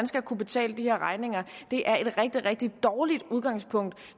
skal kunne betale regninger er et rigtig rigtig dårligt udgangspunkt